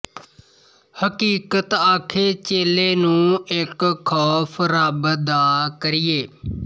ਹਕੀਕਤ ਆਖੇ ਚੇਲੇ ਨੂੰ ਇੱਕ ਖ਼ੌਫ਼ ਰੱਬ ਦਾ ਕਰੀਏ